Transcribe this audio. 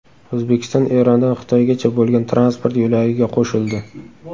O‘zbekiston Erondan Xitoygacha bo‘lgan transport yo‘lagiga qo‘shildi.